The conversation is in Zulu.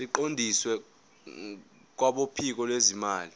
siqondiswe kwabophiko lwezimali